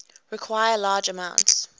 require large amounts